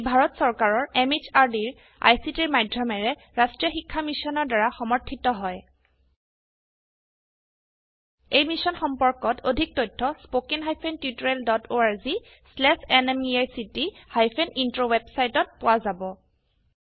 ই ভাৰত চৰকাৰৰ MHRDৰ ICTৰ মাধয়মেৰে ৰাস্ত্ৰীয় শিক্ষা মিছনৰ দ্ৱাৰা সমৰ্থিত হয় এই মিশ্যন সম্পৰ্কত অধিক তথ্য spoken hyphen tutorial dot org slash এনএমইআইচিত হাইফেন ইন্ট্ৰ ৱেবচাইটত পোৱা যাব